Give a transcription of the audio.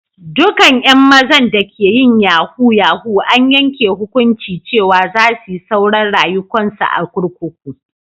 Dukan yan mazan da ke yin yahoo -yahoo an yanke hukunci cewa za su yi sauran rayuwa'n su a'kurkuku.